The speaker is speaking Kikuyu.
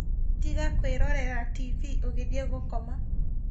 Tiga kwĩrorera tibii ũgithiĩ gũkoma